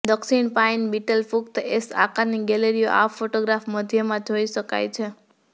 દક્ષિણ pine beetle પુખ્ત S આકારની ગેલેરીઓ આ ફોટોગ્રાફ મધ્યમાં જોઈ શકાય છે